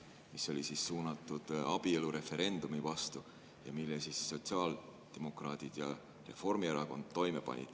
See oli suunatud abielureferendumi vastu ja selle panid toime sotsiaaldemokraadid ja Reformierakond.